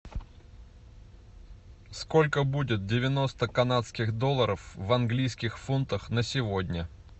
сколько будет девяносто канадских долларов в английских фунтах на сегодня